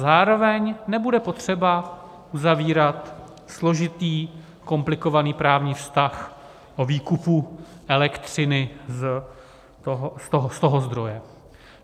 Zároveň nebude potřeba uzavírat složitý, komplikovaný právní vztah o výkupu elektřiny z toho zdroje.